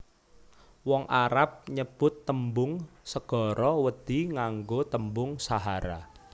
Wong Arab nyebut tembung segara wedhi nganggo tembung sahara